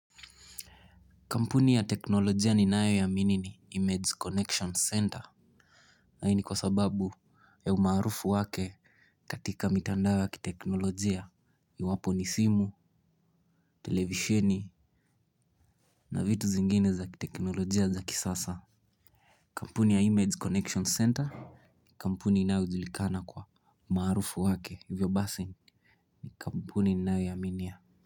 Kampuni ya teknolojia ninayo iamini ni Image Connection Center. Hii ni kwa sababu ya umaarufu wake katika mitandao ya kiteknolojia iwapo ni simu, televisheni na vitu zingine za kiteknolojia za kisasa. Kampuni ya Image Connection Center Kampuni inayo julikana kwa umaarufu wake hivyo basi ni kampuni ninayo iaminia.